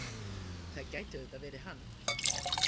Það gæti auðvitað verið hann.